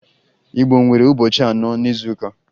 Igbo nwere ụbọchị anọ n'izuụka